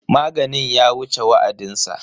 Maganin ya wuce wa'adinsa.